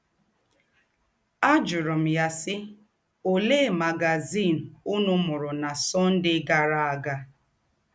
Ajụrụ̀ m yà, sì: “ Òlee magazìn ǔnù mūrù nà Sunday gàrā ága? ”